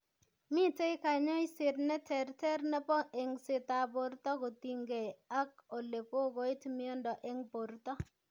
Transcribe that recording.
Mitei kanyoiset neterter nebo eng'setab borto kotinygei ak ole kokoit moindo eng' borto